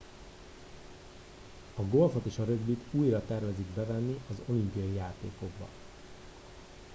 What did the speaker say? a golfot és a rögbit újra tervezik bevenni az olimpiai játékokba